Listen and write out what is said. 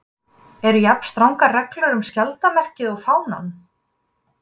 Eru jafn strangar reglur um skjaldarmerkið og fánann?